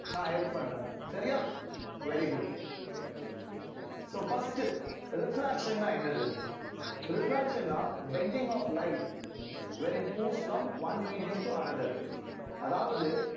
நான் help பண்றேன் சரியா very good so first refraction ன்னா என்னது refraction ன்னா bending of light when it moves from one medium to another அதாவது